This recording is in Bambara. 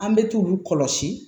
An bɛ t'u kɔlɔsi